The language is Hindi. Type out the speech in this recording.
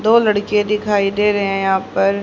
दो लड़के दिखाई दे रहे हैं यहां पर --